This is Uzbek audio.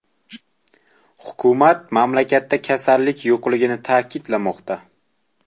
Hukumat mamlakatda kasallik yo‘qligini ta’kidlamoqda.